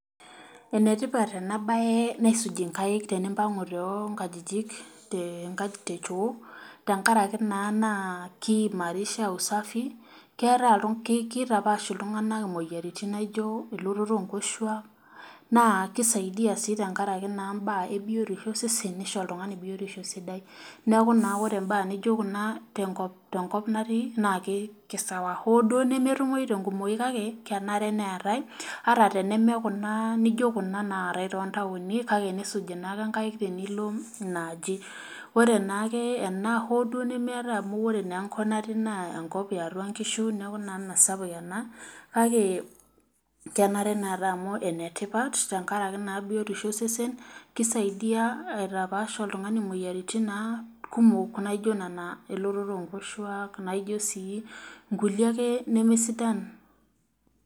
Enetipat ena baye naisuji inkaik tenimpang'u teo inkajijik te nkaik te choo tenkarake naa naa kiimarisha usafi keeta iltung kitapash iltung'anak imoyiaritin naijio elototo onkoshuak naa kisaidia sii tenkaraki naa imbaa ebiotisho osesen nisho oltung'ani biotisho sidai neku naa ore imbaa nijio kuna tenkop tenkop natii naa kei kei sawa hoo duo nemetumoi tenkumoi kake kenare neetae ata teneme kuna nijio kuna naatae tontaoni kake nisuji naake inkaik tenilo ina aji ore naake ena hoo duo nemeetae amu ore naa enkop natii naa enkop eatua inkishu neku naa mesapuk ena kake kenare neetae amu enetipat tenkarake naa biotisho osesen kisaidia aitapash oltung'ani imoyiaritin naa kumok naijo nana elototo onkoshuak naijio sii inkulie ake nemesidan.